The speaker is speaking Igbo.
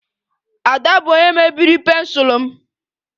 Ada bụ onye mebiri pensụl m